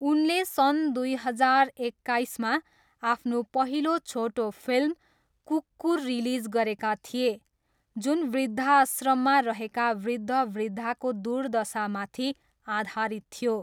उनले सन् दुई हजार एक्काइसमा आफ्नो पहिलो छोटो फिल्म कुक्कुर रिलिज गरेका थिए जुन वृद्धाश्रममा रहेका वृद्धवृद्धाको दुर्दशामाथि आधारित थियो।